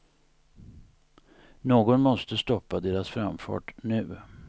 Någon måste stoppa deras framfart nu.